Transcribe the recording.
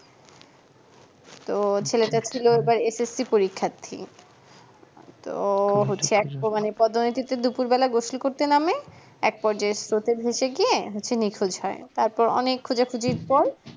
তো SSC পরীক্ষার্থী তো পদ্ম নদীতে দুপুর বেলায় গোসল করতে নামে এক পর্যায়ে স্রোতে ভেসে গিয়ে হচ্ছে নিখোঁজ হয় তারপর অনেক খোজ খুঁজির পর